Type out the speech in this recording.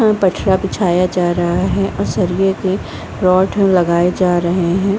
पे पटरा बिछाया जा रहा हैं और सरिये के रॉड लगाये जा रहे हैं ।